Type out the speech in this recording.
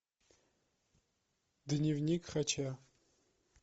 дневник хача